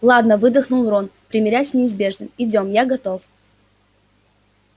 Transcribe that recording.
ладно выдохнул рон примирясь с неизбежным идём я готов